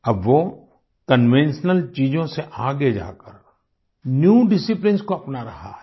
अब वो कन्वेंशनल चीज़ों से आगे जाकर न्यू डिसिप्लिन्स को अपना रहा है